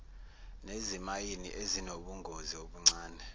nezimayini ezinobungozi obuncane